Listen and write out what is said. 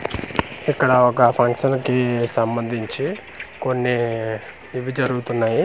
ఇక్కడ ఒక ఫంక్షన్ కి సంబందించి కొన్ని ఇవి జరుగుతున్నాయి.